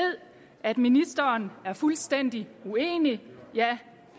at ministeren er fuldstændig uenig